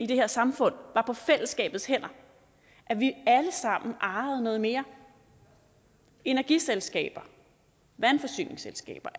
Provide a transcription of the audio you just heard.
i det her samfund var på fællesskabets hænder at vi alle sammen ejede noget mere energiselskaber vandforsyningsselskaber